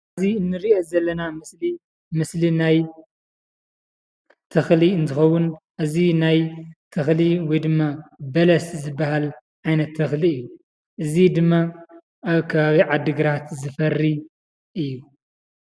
እዚ እንርእዮ ዘለና ምስሊ ምስሊ ናይ ተኽሊ እንትኸውን እዚ ናይ ተኽሊ ወይ ድማ በለስ ዝበሃል ዓይነት ተኽሊ እዩ ። እዚ ድማ ኣብ ከባቢ ዓድግራት ዝፈርይ እዩ ።